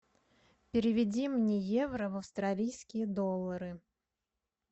переведи мне евро в австралийские доллары